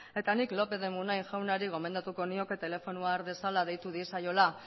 eta nik lopez de munain jaunari gomendatuko nioke telefonoa har dezala deitu diezaiola